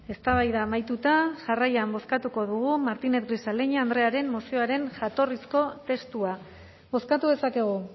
eztabaida amaituta jarraian bozkatuko dugu martínez grisaleña andrearen mozioaren jatorrizko testua bozkatu dezakegu